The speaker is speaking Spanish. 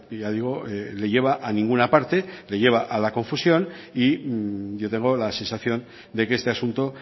ya digo le lleva a ninguna parte le lleva a la confusión y yo tengo la sensación de que este asunto